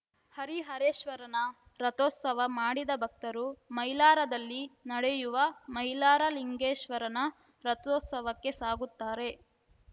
ಹರಿಹರೇಶ್ವರನ ರಥೋತ್ಸವ ಮಾಡಿದ ಭಕ್ತರು ಮೈಲಾರದಲ್ಲಿ ನಡೆಯುವ ಮೈಲಾರ ಲಿಂಗೇಶ್ವರನ ರಥೋತ್ಸವಕ್ಕೆ ಸಾಗುತ್ತಾರೆ